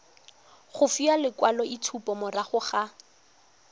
go fiwa lekwaloitshupo morago ga